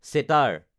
চেতাৰ